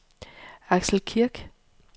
Axel Kirk